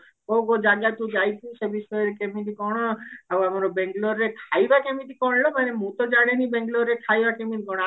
କୋଉ କୋଉ ଜାଗାକୁ ଯାଇଛୁ ସବୁ କେମିତି କଣ ଆଉ ଆମ ବେଙ୍ଗେଲୋର ରେ ଖାଇବା କେମତି କଣ ମାନେ ମୁଁ ତ ଜାଣିନି ବେଙ୍ଗେଲୋର ରେ ଖାଇବା କେମତି କଣ